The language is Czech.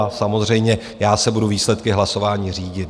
A samozřejmě já se budu výsledky hlasování řídit.